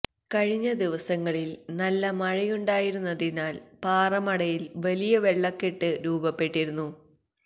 കഴിഞ്ഞ ദിവസങ്ങളില് നല്ല മഴയുണ്ടായിരുന്നതിനാല് പാറമടയില് വലിയ വെള്ളക്കെട്ട് രൂപപ്പെട്ടിരുന്നു